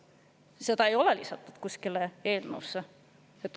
Seda ei ole eelnõusse lisatud.